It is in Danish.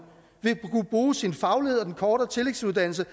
vil kunne bruge sin faglighed og den kortere tillægsuddannelse